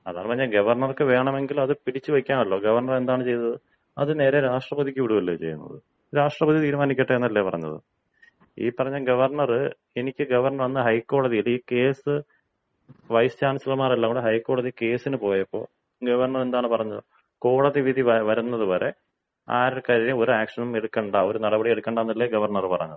അതാണ് പറഞ്ഞത്, ഗവർണർക്ക് വേണമെങ്കിൽ അത് പിടിച്ചു വയ്ക്കാമല്ലോ. ഗവർണർ എന്താണ് ചെയ്തത്? അത് നേരെ രാഷ്ട്രപതിക്ക് വിടുവല്ലേ ചെയ്യുന്നത് രാഷ്ട്രാപതി തീരുമാനിക്കട്ടെ എന്നല്ലേ പറഞ്ഞത്. ഈ പറഞ്ഞ ഗവർണർ എനിക്ക് ഗവർണർ അന്ന് ഹൈക്കോടതിയിൽ ഈ കേസ് വൈസ് ചാൻസിലർമാർ എല്ലാംകൂടി ഹൈക്കോടതിയിൽ കേസിന് പോയപ്പോ ഗവർണർ എന്താണ് പറഞ്ഞത്? കോടതിവിധി വരുന്നതുവരെ ആർക്കെതിരെയും ഒരു ആക്ഷനും എടുക്കണ്ട ഒരു നടപടിയും എടുക്കണ്ട എന്നല്ലേ ഗവർണറ് പറഞ്ഞത്.